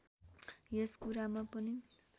यस कुरामा पनि